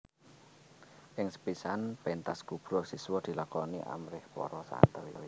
Ing sepisan pentas kubra siswa dilakoni amrih para santri